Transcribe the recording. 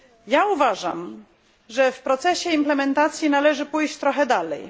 Ja uważam, że w procesie implementacji należy pójść trochę dalej.